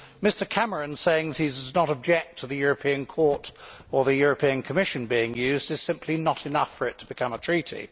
Mr Cameron saying that he does not object to the European Court or the European Commission being used is simply not enough for it to become a treaty.